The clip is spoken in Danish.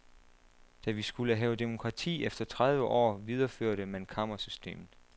Da vi skulle have demokrati efter tredive år, videreførte man kammersystemet.